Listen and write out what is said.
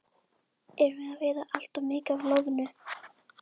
Erum við að veiða allt of mikið af loðnu?